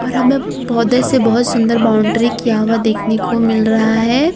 और हमें पौधे से बहुत सुंदर बाउंड्री किया हुआ देखने को मिल रहा है।